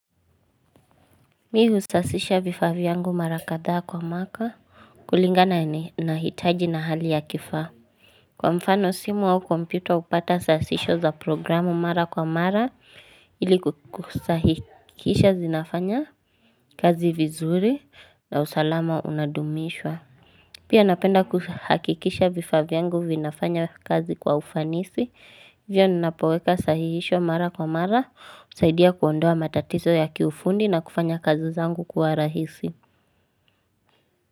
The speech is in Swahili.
Mi husasisha vifaa vyangu mara kadhaa kwa mwaka kulingana na hitaji na hali ya kifaa. Kwa mfano simu au kompyuta hupata sasisho za programu mara kwa mara ili kukusahikisha zinafanya kazi vizuri na usalama unadumishwa. Pia napenda kuhakikisha vifaa vyangu vinafanya kazi kwa ufanisi, ivio ninapoweka sahihisho mara kwa mara, usaidia kuondoa matatizo ya kiufundi na kufanya kazi zangu kwa rahisi.